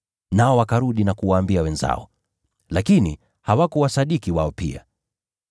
Nao wakarudi na kuwaambia wenzao. Lakini hawakuwasadiki wao pia.